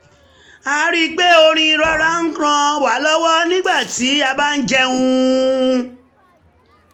a rí i pé orin rọra ń ràn wa lọwọ nígbà tí a bá ń jẹun